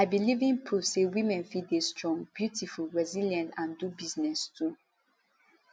i be living proof say women fit dey strong beautiful resilient and do business too